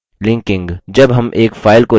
linking